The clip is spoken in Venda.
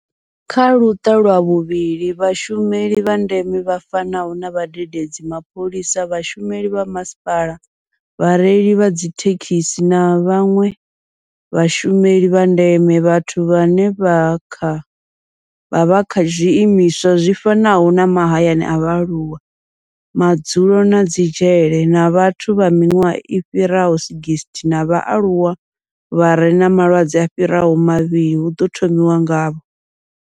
Kha luṱa lwa vhuvhili, vhashumeli vha ndeme vha fanaho na vhadededzi, mapholisa, vhashumeli vha masipala, vhareili vha dzithekhisi na vhanwe vhashumeli vha ndeme vhathu vhane vha vha kha zwiimiswa zwi fanaho na mahayani a vhaaluwa, madzulo na dzi dzhele na vhathu vha miṅwaha i fhiraho 60 na vhaaluwa vha re na malwadze a fhiraho mavhili hu ḓo thomiwa ngavho.